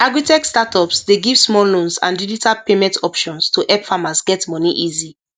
agritech startups dey give small loans and digital payment options to help farmers get money easy